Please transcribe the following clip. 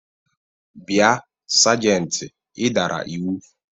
Bia sajenti, ị dara iwu!